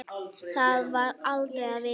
Það var aldrei að vita.